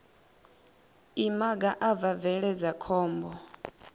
imaga a bva bveledza khombo